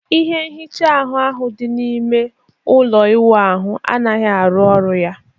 ihe nhicha ahbu ahụ dị n'ime ime ụlọ ịwụ ahụ anaghị arụ ọrụ ya.